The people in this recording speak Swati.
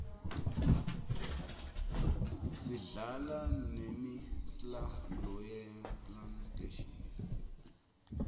sidlala nemi sla lo yema playstation